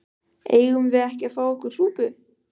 Eigum við ekki að fá okkur súpu?